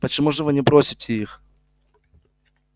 почему же вы не бросите их